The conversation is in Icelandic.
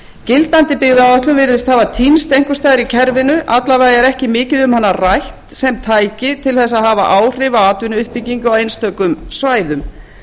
gildandi byggðaáætlun virðist hafa týnst einhvers staðar í kerfinu alla vega er ekki mikið um hana rætt sem tæki til að hafa áhrif á atvinnuuppbyggingu á einstökum svæðum